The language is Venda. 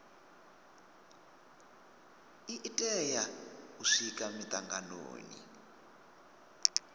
i tea u swika mitanganoni